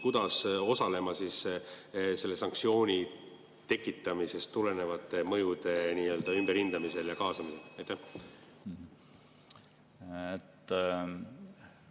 Kuidas riik peaks osalema selle sanktsiooni tekitamisest tulenevate mõjude ümberhindamisel ja?